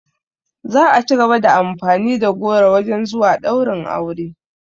Za a cigaba da amfani da goro wajen zuwa ɗaurin aure